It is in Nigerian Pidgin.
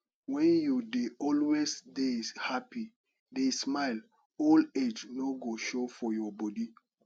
wen you dey always dey happy dey smile old age no go show for your body